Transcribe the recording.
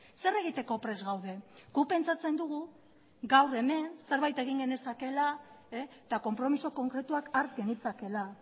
zer egiteko prest gaude guk pentsatzen dugu gaur hemen zerbait egin genezakeela eta konpromiso konkretuak har genitzakeela